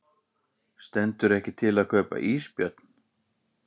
Stendur ekki til að kaupa ísbjörn